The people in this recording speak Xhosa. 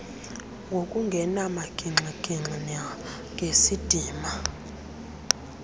ngokungena magingxigingxi nangesidima